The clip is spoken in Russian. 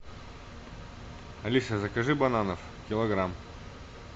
алиса закажи бананов килограмм